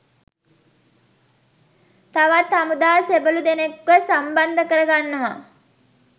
තවත් හමුදා සෙබලුදෙනෙක්වත් සම්බන්ධ කර ගන්නව.